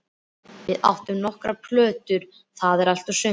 Við áttum nokkrar plötur, það var allt og sumt.